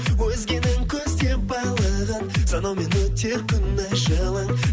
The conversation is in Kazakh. өзгенің көздеп байлығын санаумен өтер күн ай жылың